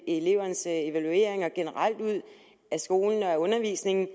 elevernes evalueringer generelt ud af skolen og af undervisningen